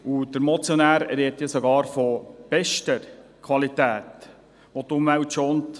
Die Motion spricht sogar von bester Qualität, welche die Umwelt schont.